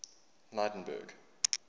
lydenburg